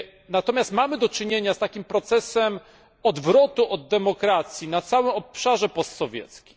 Natomiast mamy do czynienia z takim procesem odwrotu od demokracji na całym obszarze postsowieckim.